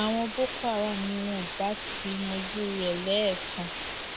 àwọn boko haram ni wọn ibà ti yanjú rẹ lẹẹkan